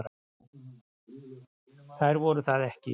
Þær voru það ekki.